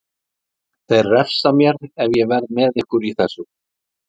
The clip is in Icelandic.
Þeir refsa mér ef ég verð með ykkur í þessu.